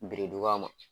Biriduga ma